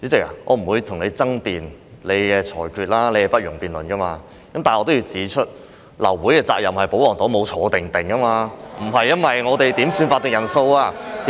但是，我仍要指出，流會是保皇黨的責任，他們沒有"坐定定"，流會不是因為我們要求點算法定人數。